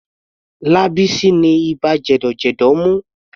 Lábísí ni ibà jẹ̀dọ̀jẹ̀dọ̀ mú.